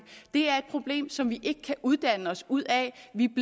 det er et problem som vi ikke kan uddanne os ud af